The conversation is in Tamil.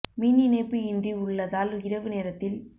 மின் இணைப்பு இன்றி உள்ளதால் இரவு நேரத்தில்